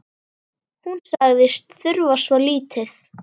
Hún sagðist þurfa svo lítið.